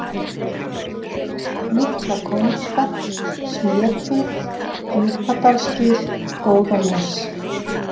Litla-Kóngsfell, Smérfit, Djúpadalsgil, Góðanes